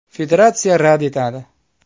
Federatsiya rad etadi.